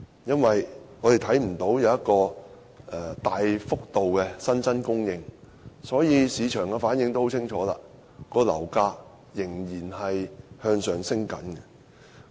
我們看不見新住宅單位有大幅度增加，市場的反應也很清楚，樓價仍然繼續上升。